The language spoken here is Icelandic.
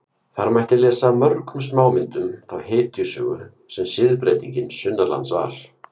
Þar mætti lesa af mörgum smámyndum þá hetjusögu sem siðbreytingin sunnanlands var.